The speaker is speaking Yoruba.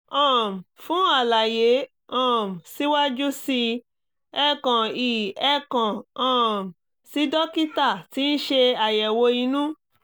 um fún àlàyé um síwájú sí i ẹ kàn i ẹ kàn um sí dókítà tí ń ṣe aàyẹ̀wò inú